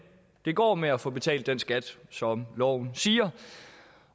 det går med at få betalt den skat som loven siger